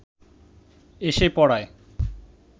এসে পড়ায়